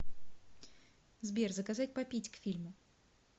сбер заказать попить к фильму